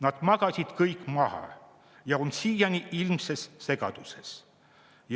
Nad magasid kõik maha ja on siiani ilmses segaduses.